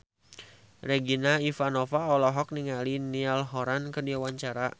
Regina Ivanova olohok ningali Niall Horran keur diwawancara